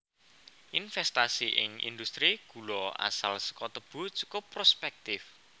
Investasi ing industri gula asal saka tebu cukup prospèktif